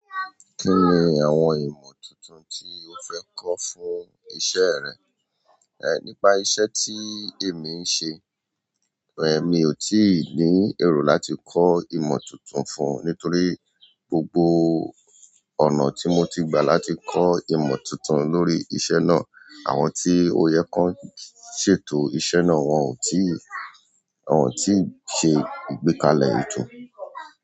Kí ni àwọn ìmọ̀ tuntun tí o fẹ́ kọ́ fún iṣẹ́ rẹ? Nípa iṣẹ́ tí èmi ń ṣe, èmi ò tí ì ní ero láti kọ́ ìmọ̀ tuntun fún un nítorí gbogbo ọ̀nà tí mo ti gba láti kọ́ ìmọ̀ tuntun lórí iṣẹ́ náà, àwọn tí ó yẹ kan ṣètò iṣẹ́ náà wọn ò tí ì, wọn ò tí ì ṣe ìgbékalẹ̀ ètò.